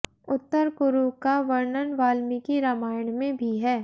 उत्तर कुरु का वर्णन वाल्मीकि रामायण में भी है